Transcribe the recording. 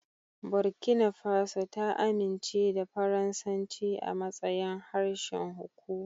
Burkina Faso ta amince da Faransanci a matsayin harshen hukuma.